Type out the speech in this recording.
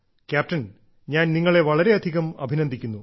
captain ഞാൻ നിങ്ങളെ വളരെയധികം അഭിനന്ദിക്കുന്നു